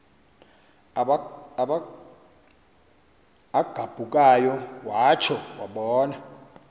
agabukayo watsho wabona